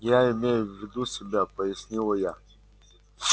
я имею в виду себя пояснила я